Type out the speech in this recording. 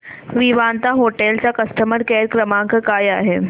Vivanta hotel चा customer care क्रमांक काय आहे